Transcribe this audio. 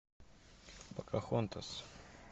покахонтас